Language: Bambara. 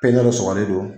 Pɛntiri sɔgɔlen don